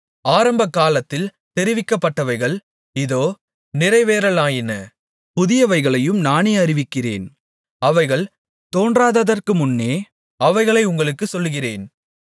ஆரம்பகாலத்தில் தெரிவிக்கப்பட்டவைகள் இதோ நிறைவேறலாயின புதியவைகளையும் நானே அறிவிக்கிறேன் அவைகள் தோன்றாததற்கு முன்னே அவைகளை உங்களுக்குச் சொல்கிறேன்